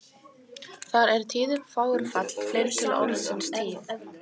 Þar er tíðum þágufall fleirtölu orðsins tíð.